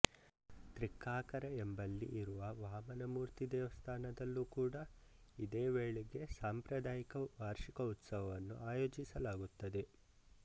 ತ್ರಿಕ್ಕಾಕರ ಎಂಬಲ್ಲಿ ಇರುವ ವಾಮನಮೂರ್ತಿ ದೇವಸ್ಥಾನದಲ್ಲೂ ಕೂಡ ಇದೇ ವೇಳೆಗೆ ಸಾಂಪ್ರಾದಾಯಿಕ ವಾರ್ಷಿಕ ಉತ್ಸವವನ್ನು ಆಯೋಜಿಸಲಾಗುತ್ತದೆ